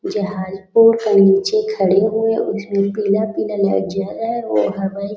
जहाज़ पेड़ के नीचे खड़े हुए हैं उसमे पीला-पीला लाइट जल रहा हैं वो हवाई